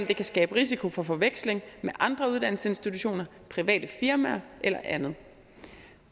de kan skabe risiko for forveksling med andre uddannelsesinstitutioner private firmaer eller andet